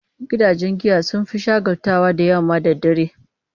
Gidajen giya sun fi shagaltuwa da yamma da dare.